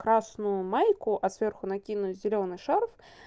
красную майку а сверху накинуть зелёный шарф